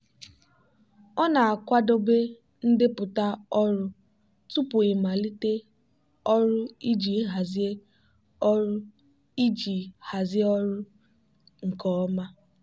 ọ na-akwadebe ndepụta ọrụ tupu ịmalite ọrụ iji hazie ọrụ iji hazie ọrụ nke ọma.